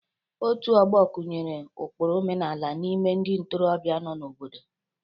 Otu ọgbo kụnyere ụkpụrụ omenala n'ime ndị ntorobịa nọ n'obodo.